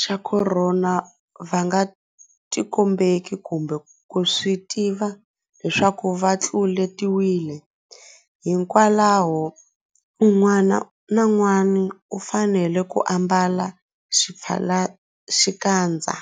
xa Khorona va nga tikombeki kumbe ku swi tiva leswaku va tlule-tiwile, hikwalaho un'wana na un'wana u fanele ku ambala xipfalaxikandza.